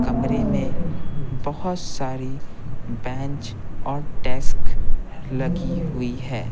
कमरे में बहुत सारी बेंच और डेस्क लगी हुई है।